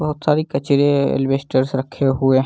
बहुत सारी कचरे एल्बेस्टर्स रहे हुए --